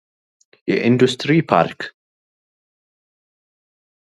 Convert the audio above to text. የኢንዱስትሪ ፓርክ ።